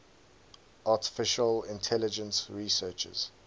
artificial intelligence researchers